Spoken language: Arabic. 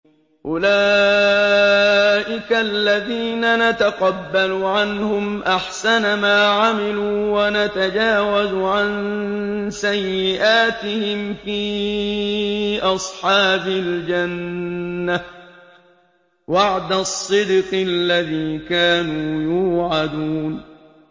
أُولَٰئِكَ الَّذِينَ نَتَقَبَّلُ عَنْهُمْ أَحْسَنَ مَا عَمِلُوا وَنَتَجَاوَزُ عَن سَيِّئَاتِهِمْ فِي أَصْحَابِ الْجَنَّةِ ۖ وَعْدَ الصِّدْقِ الَّذِي كَانُوا يُوعَدُونَ